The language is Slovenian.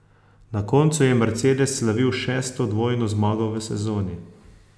Na koncu je Mercedes slavil šesto dvojno zmago v sezoni.